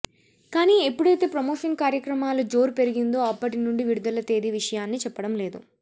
కాని ఎప్పుడైతే ప్రమోషన్ కార్యక్రమాల జోరు పెరిగిందో అప్పటి నుండి విడుదల తేదీ విషయాన్ని చెప్పడం లేదు